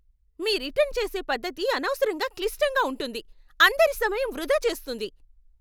మీ return చేసే పద్ధతి అనవసరంగా క్లిష్టంగా ఉంటుంది, అందరి సమయం వృధా చేస్తుంది.